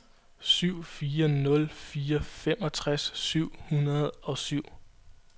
syv fire nul fire femogtres syv hundrede og syv